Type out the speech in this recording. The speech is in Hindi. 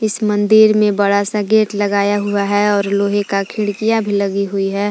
इस मंदिर में बड़ा सा गेट लगाया हुआ हैं और लोहे का खिड़कियां भी लगी हुई है।